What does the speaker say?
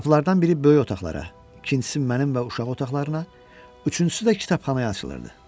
Qapılardan biri böyük otaqlara, ikincisi mənim və uşaq otaqlarına, üçüncüsü də kitabxanaya açılırdı.